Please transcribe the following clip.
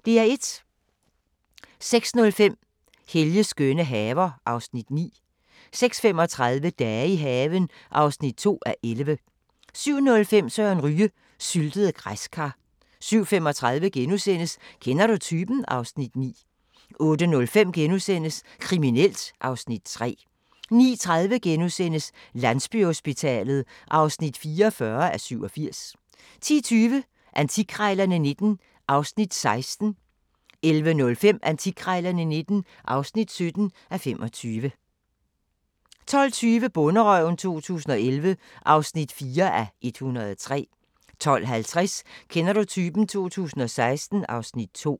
06:05: Helges skønne haver (Afs. 9) 06:35: Dage i haven (2:11) 07:05: Søren Ryge: Syltede græskar 07:35: Kender du typen? (Afs. 9)* 08:05: Kriminelt (Afs. 3)* 09:30: Landsbyhospitalet (44:87)* 10:20: Antikkrejlerne XIX (16:25) 11:05: Antikkrejlerne XIX (17:25) 12:20: Bonderøven 2011 (4:103) 12:50: Kender du typen? 2016 (Afs. 2)